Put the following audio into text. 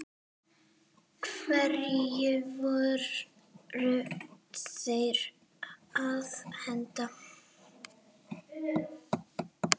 Hverju voru þeir að henda?